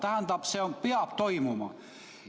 Tähendab, see peab toimuma.